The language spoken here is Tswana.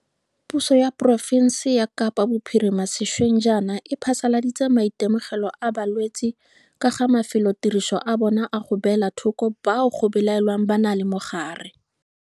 Puso ya porofense ya Kapa Bophirima sešweng jaana e phasaladitse maitemogelo a balwetse ka ga mafelotiriso a yona a go beela thoko bao go belaelwang ba na le mogare.